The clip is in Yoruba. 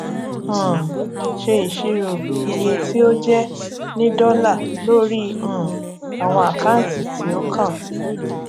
um ṣe isiro iye tí ó jẹ ní dọlà lórí um àwọn àkáǹtì tí ó kàn